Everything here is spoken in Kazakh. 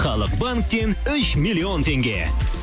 халық банктен үш миллион теңге